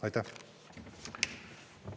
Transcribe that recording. Aitäh!